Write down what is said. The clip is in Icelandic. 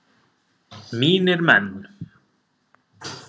Mínir menn!